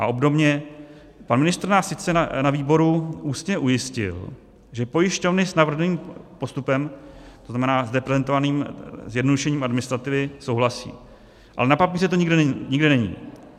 A obdobně, pan ministr nás sice na výboru ústně ujistil, že pojišťovny s navrženým postupem, to znamená zde prezentovaným zjednodušením administrativy, souhlasí, ale na papíře to nikde není.